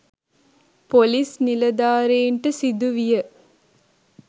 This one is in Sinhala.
පොලිස්‌ නිලධාරීන්ට සිදු විය.